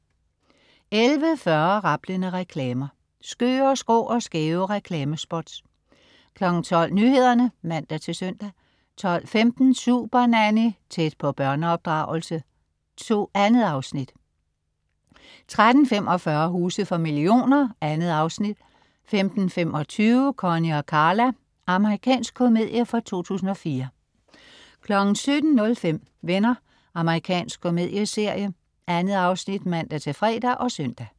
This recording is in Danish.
11.40 Rablende reklamer. Skøre, skrå og skæve reklamespots 12.00 Nyhederne (man-søn) 12.15 Supernanny. Tæt på børneopdragelse. 2 afsnit 13.45 Huse for millioner. 2 afsnit 15.25 Connie & Carla. Amerikansk komedie fra 2004 17.05 Venner. Amerikansk komedieserie. 2 afsnit (man-fre og søn)